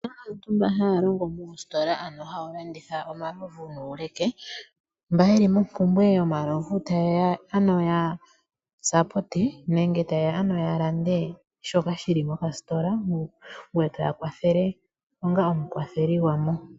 Opuna aantu mba haya longo moositola ano hawu landitha omalovu nuuleke mba yeli mompumbwe yomalovu tayeya ya lande shoka shili mokasitola ngwe etoya kwathele onga omukwatheli gwamo.